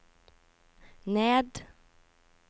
ned